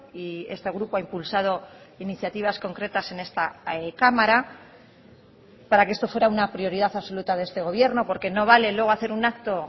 y este grupo ha impulsado iniciativas concretas en esta cámara para que esto fuera una prioridad absoluta de este gobierno porque no vale luego hacer un acto